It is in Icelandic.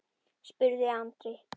spurði Andri.